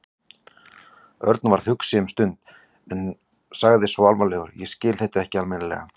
Örn varð hugsi um stund en sagði svo alvarlegur: Ég skil þetta ekki almennilega.